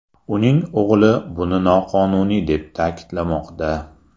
Uning o‘g‘li buni noqonuniy deb ta’kidlamoqda.